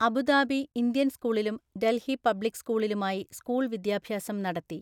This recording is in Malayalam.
അബുദാബി ഇന്ത്യൻ സ്‌കൂളിലും ഡൽഹി പബ്ലിക് സ്‌കൂളിലുമായി സ്‌കൂൾ വിദ്യാഭ്യാസം നടത്തി.